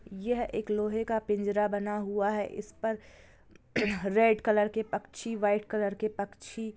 यह एक लोहे का पिंजरा बना हुआ है इस पर रेड कलर के पक्षी वाईट कलर के पक्षी--